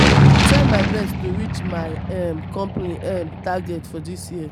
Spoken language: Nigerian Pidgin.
i dey try my best to reach my um company um target for dis year.